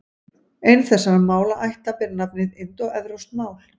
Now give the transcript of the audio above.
Ein þessara málaætta ber nafnið indóevrópsk mál.